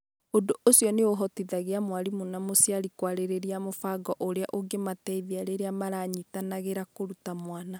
Ũndũ ũcio nĩ ũhotithagia mwarimũ na mũciari kwarĩrĩria mũbango ũrĩa ũngĩmateithia rĩrĩa maranyitanagĩra kũruta mwana.